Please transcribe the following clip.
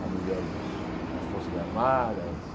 Há mulheres nas forças armadas.